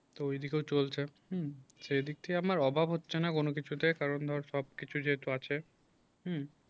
তো এদিকে ও চলছে হুম সেই দিক থেকে আমার অভাব হচ্ছে না কোন কিছুতে কারণ ধর সবকিছুর যেহেতু আছে হুম